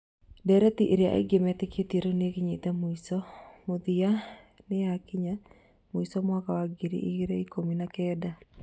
Ndireti ĩrĩa aingĩ metĩkĩtie rĩu nĩyakinyĩte mũico, mũthia nĩyakinya mũico mwaka wa ngiri igĩrĩ ikumi na kend